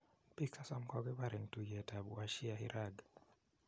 pik 30 kokokipar eng tuyet ap washiairaq